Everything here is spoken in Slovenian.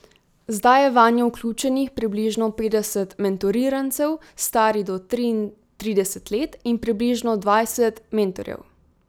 Zdaj je vanjo vključenih približno petdeset mentorirancev, starih do triintrideset let, in približno dvajset mentorjev.